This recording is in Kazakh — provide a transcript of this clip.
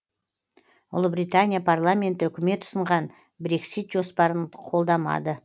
ұлыбритания парламенті үкімет ұсынған брексит жоспарын қолдамады